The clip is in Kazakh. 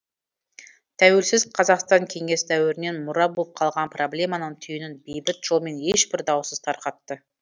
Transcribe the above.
тәуелсіз қазақстан кеңес дәуірінен мұра болып қалған проблеманың түйінін бейбіт жолмен ешбір даусыз тарқатты